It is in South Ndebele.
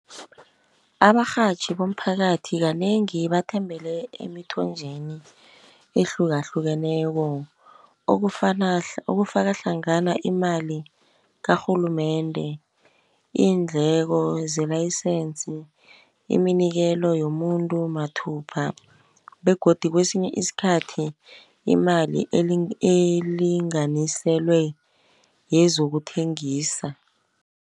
Abarhatjhi bomphakathi kanengi bathembele emthonjeni ehlukahlukeneko. Okufaka hlangana imali karhulumende, iindleko zelayisense, iminikelo yomuntu mathupha, begodu kwesinye iskhathi imali elinganiselwe yezokuthengisa.